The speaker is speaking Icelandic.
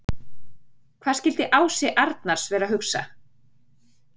Hvað skildi Ási Arnars vera að hugsa?